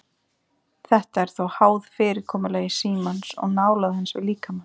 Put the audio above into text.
Þetta er þó háð fyrirkomulagi símans og nálægð hans við líkamann.